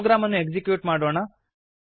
program ಅನ್ನು execute ಮಾಡೋಣ